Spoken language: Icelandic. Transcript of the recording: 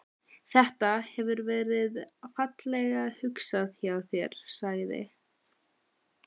Þetta. hefur verið fallega hugsað hjá þér sagði